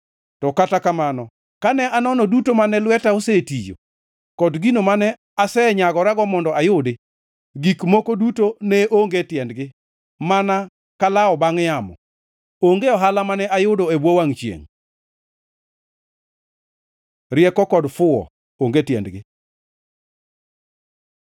To kata kamano kane anono duto mane lweta osetiyo kod gino mane asenyagora mondo ayudi, gik moko duto ne onge tiendgi, mana kalawo bangʼ yamo; onge ohala mane ayudo e bwo wangʼ chiengʼ. Rieko kod fuwo onge tiendgi